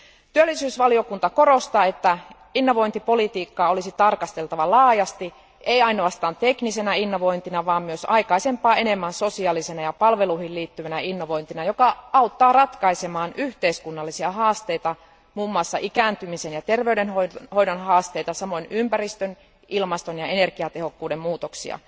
Työllisyysvaliokunta korostaa, että innovointipolitiikkaa olisi tarkasteltava laajasti, ei ainoastaan teknisenä innovointina, vaan myös aikaisempaa enemmän sosiaalisena ja palveluihin liittyvänä innovointina, joka auttaa ratkaisemaan yhteiskunnallisia haasteita, muun muassa ikääntymisen ja terveydenhoidon haasteita, samoin ympäristön, ilmaston ja energiatehokkuuden muutoksia.